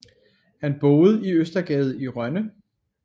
Han boede i Østergade i Rønne